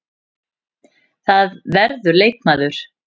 Það verður leikmaður.